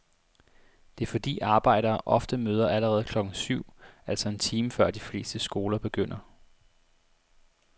Det er fordi arbejdere ofte møder allerede klokken syv, altså en time før de fleste skoler begynder.